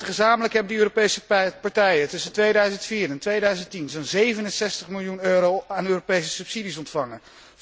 Gezamenlijk hebben die Europese partijen tussen 2004 en 2010 zo'n 67 miljoen euro aan Europese subsidies ontvangen.